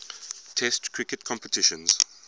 test cricket competitions